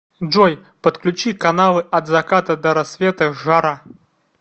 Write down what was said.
джой подключи каналы от заката до рассвета жара